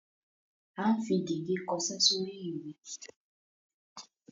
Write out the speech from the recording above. À ń fi gègé kọṣẹ́ sórí ìwé.